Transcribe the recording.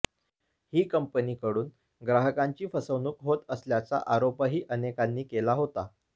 ही कंपनीकडून ग्राहकांची फसवणूक होत असल्याचा आरोपही अनेकांनी केला होता